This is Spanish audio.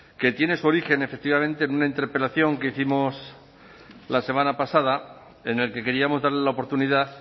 que tiene su origen efectivamente en una interpelación que hicimos la semana pasada en el que queríamos darle la oportunidad